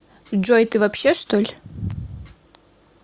джой ты вообще чтоль